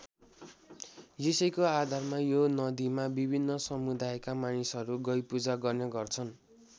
यसैको आधारमा यो नदीमा विभिन्न समुदायका मानिसहरू गइ पूजा गर्ने गर्छन्।